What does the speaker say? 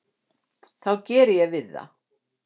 þá geri ég við það.